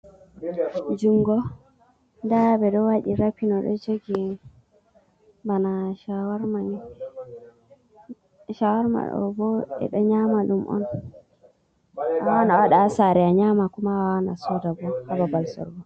Jungo nda ɓeɗo waɗi rapin oɗo jogi bana shawarmani. Shawarma ɗobo ɓeɗo nyama dum on, awawan a wada hasare a nyama, kuma awawan asodabo hababal sorugo.